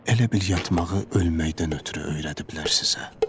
Elə bil yatmağı ölməkdən ötrü öyrədə bilər sizə.